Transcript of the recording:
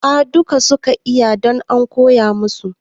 A dukka suka iya don an koya masu